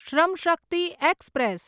શ્રમ શક્તિ એક્સપ્રેસ